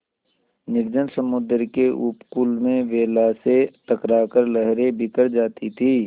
निर्जन समुद्र के उपकूल में वेला से टकरा कर लहरें बिखर जाती थीं